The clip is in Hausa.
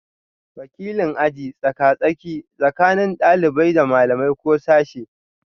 Wakilin aji tsaka-tsaki tsakanin ɗalibai da malamai ko sashe